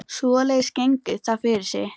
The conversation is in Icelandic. Svoleiðis gengur það fyrir sig